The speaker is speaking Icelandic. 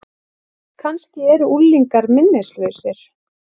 Kannski eru unglingar minnislausir?